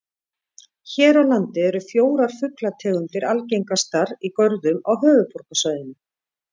Hér á landi eru fjórar fuglategundir algengastar í görðum á höfuðborgarsvæðinu.